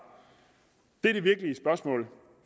det er det virkelige spørgsmål